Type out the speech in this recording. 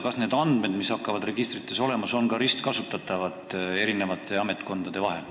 Kas neid andmeid, mis hakkavad registrites olema, saavad ametkonnad ka ristkasutada?